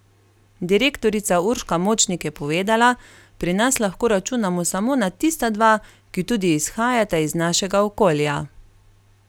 Direktorica Urška Močnik je povedala: 'Pri nas lahko računamo samo na tista dva, ki tudi izhajata iz našega okolja.